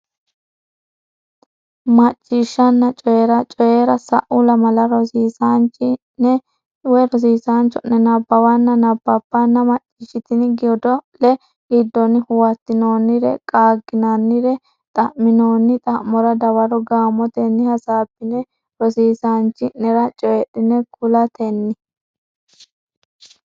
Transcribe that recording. Macciishshanna Coyi ra Coyi ra Sa u lamalara rosiisaanchi ne cho ne nabbawanna bbanna macciishshitini godo le giddonni huwattinoonnire qaagginannire xa minoonni xa mora dawaro gaamotenni hasaabbine rosiissanchi nera coydhine kulatenni.